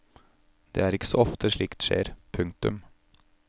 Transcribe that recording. Det er ikke så ofte slikt skjer. punktum